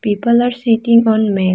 People are sitting on ma .